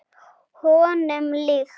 Honum líkt.